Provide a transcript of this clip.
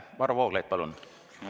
Varro Vooglaid, palun!